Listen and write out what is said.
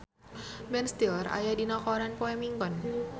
Ben Stiller aya dina koran poe Minggon